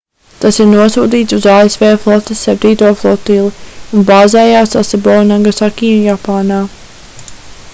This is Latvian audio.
tas ir nosūtīts uz asv flotes septīto flotili un bāzējas sasebo nagasaki japānā